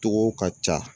Togow ka ca